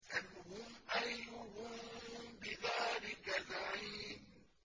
سَلْهُمْ أَيُّهُم بِذَٰلِكَ زَعِيمٌ